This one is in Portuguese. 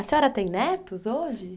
A senhora tem netos hoje?